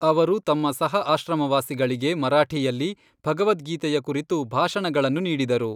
ಅವರು ತಮ್ಮ ಸಹ ಆಶ್ರಮವಾಸಿಗಳಿಗೆ ಮರಾಠಿಯಲ್ಲಿ ಭಗವದ್ಗೀತೆಯ ಕುರಿತು ಭಾಷಣಗಳನ್ನು ನೀಡಿದರು.